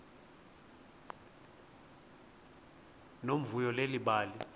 nomvuyo leli bali